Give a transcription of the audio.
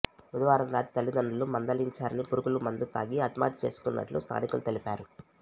బుధవారం రాత్రి తల్లిదండ్రులు మందలించారని పురుగుల మందు తాగి ఆత్మహత్య చేసుకున్నట్లు స్థానికులు తెలిపారు